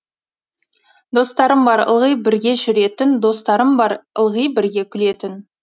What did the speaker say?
достарым бар ылғи бірге жүретін достарым бар ылғи бірге күлетін